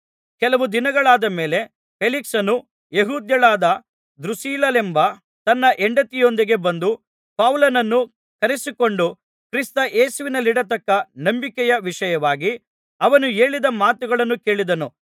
ಕೆಲವು ದಿನಗಳಾದ ಮೇಲೆ ಫೇಲಿಕ್ಸನು ಯೆಹೂದ್ಯಳಾದ ದ್ರೂಸಿಲ್ಲಳೆಂಬ ತನ್ನ ಹೆಂಡತಿಯೊಂದಿಗೆ ಬಂದು ಪೌಲನನ್ನು ಕರೆಯಿಸಿಕೊಂಡು ಕ್ರಿಸ್ತ ಯೇಸುವಿನಲ್ಲಿಡತಕ್ಕ ನಂಬಿಕೆಯ ವಿಷಯವಾಗಿ ಅವನು ಹೇಳಿದ ಮಾತುಗಳನ್ನು ಕೇಳಿದನು